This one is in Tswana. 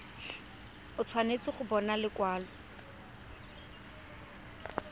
o tshwanetse go bona lekwalo